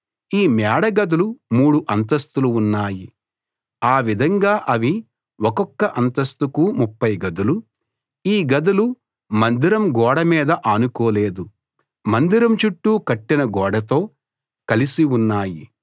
ఈ మేడగదులు మూడు అంతస్థులు ఉన్నాయి ఆ విధంగా అవి ఒక్కొక్క అంతస్తుకు 30 గదులు ఈ గదులు మందిరం గోడ మీద ఆనుకోలేదు మందిరం చుట్టూ కట్టిన గోడతో కలిసి ఉన్నాయి